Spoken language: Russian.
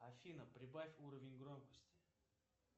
афина прибавь уровень громкости